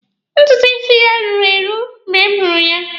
Ntutu isi ya ruru eru mgbe m hụrụ ya.